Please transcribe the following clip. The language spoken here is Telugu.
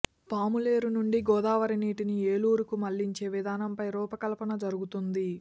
పాములేరు నుండి గోదావరి నీటిని ఏలేరుకు మళ్లించే విధానంపై రూపకల్పన జరగుతోంది